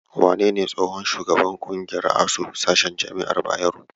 Wanene tsohon shugaban ƙungiyar ASUU, sashen jama'ar Bayero?